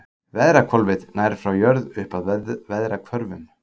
Veðrahvolfið nær frá jörð upp að veðrahvörfum.